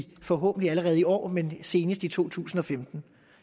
forhåbentlig allerede i år men senest i to tusind og femten